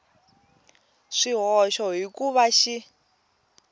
swihoxo hi ku va xi